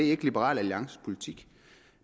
ikke liberal alliances politik